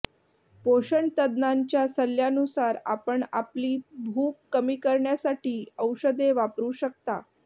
पोषणतज्ञांच्या सल्ल्यानुसार आपण आपली भूक कमी करण्यासाठी औषधे वापरू शकता